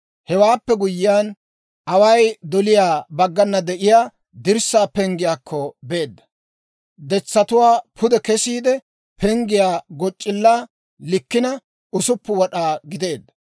Hewaappe guyyiyaan, away doliyaa baggana de'iyaa dirssaa penggiyaakko beedda. Detsatuwaa pude kesiide, penggiyaa goc'c'illaa likkina 6 wad'aa gideedda.